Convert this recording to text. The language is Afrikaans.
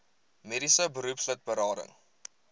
mediese beroepslid berading